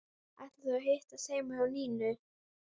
Ætla þau að hittast heima hjá Nínu?